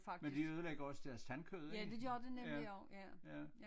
Men de ødelægger også deres tandkød ik ja ja